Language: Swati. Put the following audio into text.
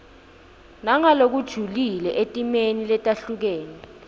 nangalokujulile etimeni letehlukene